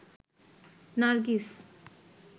Nargis